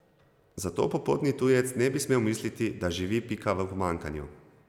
Zato popotni tujec ne bi smel misliti, da živi Pika v pomanjkanju.